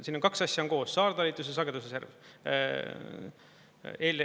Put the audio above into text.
Siin on kaks asja koos: saartalitus ja sagedusreserv.